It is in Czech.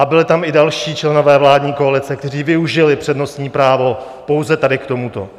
A byli tam i další členové vládní koalice, kteří využili přednostní právo pouze tady k tomuto.